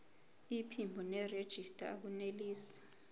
iphimbo nerejista akunelisi